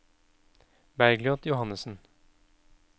Bergljot Johannessen